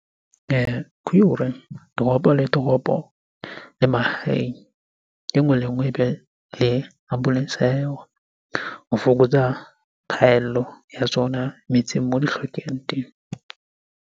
Ke hore toropo le toropo le mahaeng, e nngwe le e nngwe ebe le ambulance ya yona ho fokotsa phaello ya tsona metseng moo di hlokehang teng.